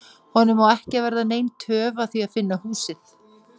Honum á ekki að verða nein töf að því að finna húsið.